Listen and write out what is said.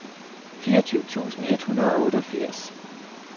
fireogtyve tusind et hundrede og otteogfirs